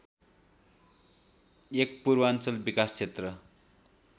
१ पूर्वाञ्चल विकास क्षेत्र